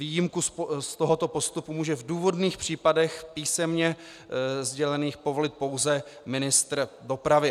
Výjimku z tohoto postupu může v důvodných případech, písemně sdělených, povolit pouze ministr dopravy.